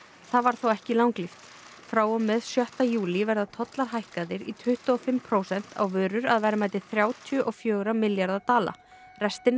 það varð þó ekki langlíft frá og með sjötta júlí verða tollar hækkaðir í tuttugu og fimm prósent á vörur að verðmæti þrjátíu og fjögurra milljarða dala restin